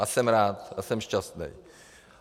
A jsem rád a jsem šťastný.